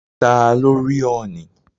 Ta ló rí ọ̀ọ̀nì?